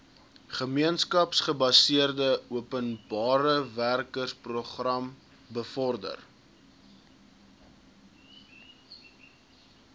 gemeenskapsgebaseerde openbarewerkeprogram bevorder